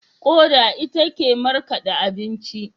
Koda ita ke markade abinci.